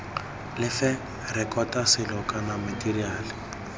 lefe rekota selo kana matheriale